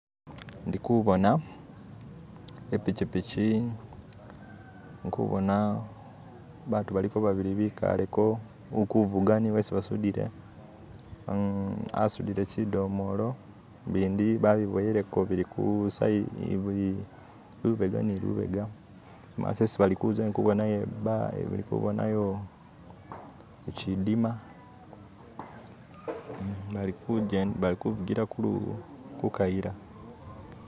Indikubona ipikipiki, indikubona abantu baliko babili bikaleko ulikuvuga ni yesi basudile asudile shidomolo, bindi babiboyeleko bili ku sa bili lubega ni lubega imaso esi balikuza indikubonayo shidima balikufugila ku kayila.